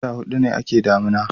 wata hudu ne a ke damina